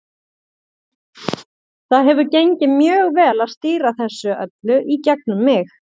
Það hefur gengið mjög vel að stýra þessu öllu í gegnum mig.